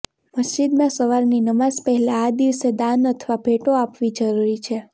મસ્જિદમાં સવારની નમાઝ પહેલા આ દિવસે દાન અથવા ભેંટો આપવી જરૂરી છે